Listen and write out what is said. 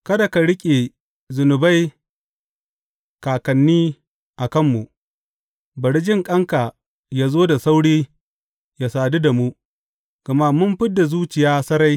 Kada ka riƙe zunubai kakanni a kanmu; bari jinƙanka yă zo da sauri yă sadu da mu, gama mun fid da zuciya sarai.